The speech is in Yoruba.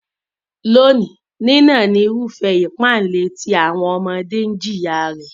Lónìí, nínà ni irúfẹ́ ipá-ilé tí àwọn ọmọdé jìyà rẹ̀.